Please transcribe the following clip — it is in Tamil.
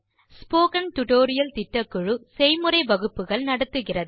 ஸ்போக்கன் டியூட்டோரியல் திட்டக்குழு செய்முறை வகுப்புகள் நடத்துகிறது